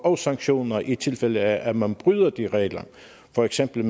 og sanktioner i tilfælde af at man bryder disse regler for eksempel